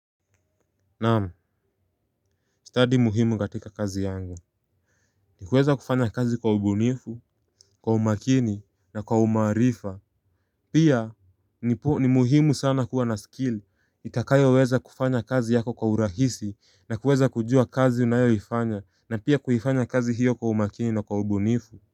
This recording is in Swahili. Naamu, study muhimu gatika kazi yangu. Ni kuweza kufanya kazi kwa ubunifu, kwa umakini na kwa umarifa. Pia ni muhimu sana kuwa na skill itakayo weza kufanya kazi yako kwa urahisi na kuweza kujua kazi unayoifanya. Na pia kuhifanya kazi hiyo kwa umakini na kwa ubunifu.